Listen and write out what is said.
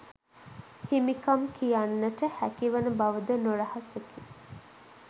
හිමිකම් කියන්නට හැකි වන බව ද නොරහසකි.